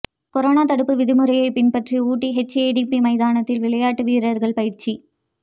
corona தடுப்பு விதிமுறையை பின்பற்றி ஊட்டி எச்ஏடிபி மைதானத்தில் விளையாட்டு வீரர்கள் பயிற்சி